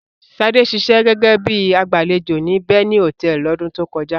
Ṣadé ṣiṣẹ́ gẹ́gẹ́ bí i agbàlejò ní Beni Hòtẹ́ẹ́lì lọ́dún tó kọjá.